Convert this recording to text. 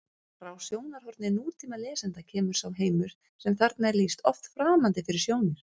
Frá sjónarhorni nútímalesanda kemur sá heimur sem þarna er lýst oft framandi fyrir sjónir: